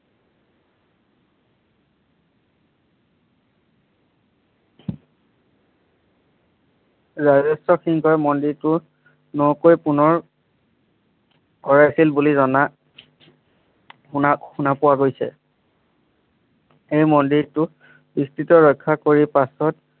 ৰাজেশ্বৰ সিংহই মন্দিৰটো নকৈ পুনৰ কৰাইছিল বুলি জনা শুনা শুনা পোৱা গৈছে এই মন্দিৰটো স্থিতিত ৰক্ষা কৰি পাছত